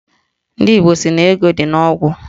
Ndị Igbo sị na ego dị n'ogwu